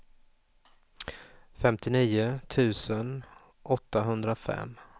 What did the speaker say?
femtionio tusen åttahundrafem